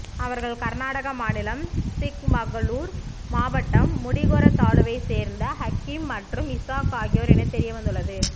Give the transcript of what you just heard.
அவர்கள் கர்நாடக மாநிலம் சிக்மகளூர் மாவட்டம் முடிகெர தாலுவைச் சேர்ந்த ஹக்கீம் மற்றும் இசாக் ஆகியோர் என தெரியவந்துள்ளது